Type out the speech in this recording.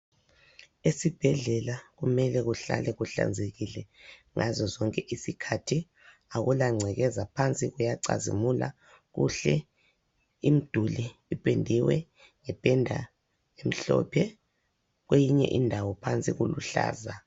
Esibhedlela kumele kuhlale kuhlanzekile ngazozonke isikhathi. Akulagcekeza phansi kuyacazimula kuhle. Imiduli ipendiwe ngependa emhlophe kweyinye indawo phansi kuluhlaza.